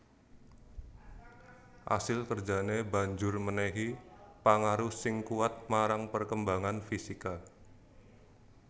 Asil kerjané banjur mènèhi pangaruh sing kuwat marang perkembangan fisika